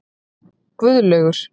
Guðlaugur